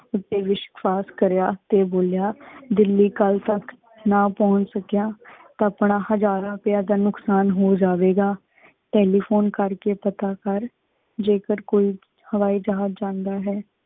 ਊਟੀ ਵਿਸ਼ਵਾਸ਼ ਕਰਯਾ ਤੇ ਬੋਲਯਾ, ਦਿੱਲੀ ਕਲ ਤਕ ਨਾ ਪਹੁੰਚ ਸਕਿਆ ਤਾ ਆਪਣਾ ਹਜ਼ਾਰਾਂ ਪਿਆ ਦਾ ਨੁਕਸ਼ਾਨ ਹੋ ਜਾਏਗਾ। ਟੈਲੀਫੋਨ ਕਰਕੇ ਪਤਾ ਕਰ, ਜੇਕਰ ਕੋਈ ਹਵਾਈ ਜਹਾਜ਼ ਜਾਂਦਾ ਹੈ